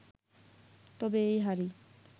তবে এই হারই